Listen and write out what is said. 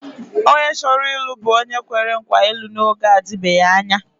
Onye chọrọ ịlụ bụ onye kwere nkwa ịlụ n’oge na-adịbeghị anya.